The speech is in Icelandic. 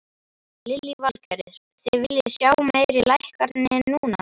Lillý Valgerður: Þið viljið sjá meiri lækkanir núna?